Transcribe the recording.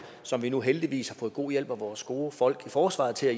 som vi nu heldigvis har fået god hjælp af vores gode folk i forsvaret til at